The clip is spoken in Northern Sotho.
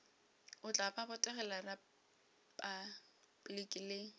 o tla botegela repabliki le